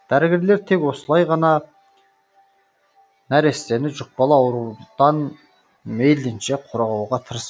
дәрігерлер тек осылай ғана нәрестені жұқпалы аурудан мейлінше қорғауға тырысып